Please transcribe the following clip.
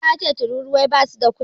Isa yace tururuwai basu da kunne.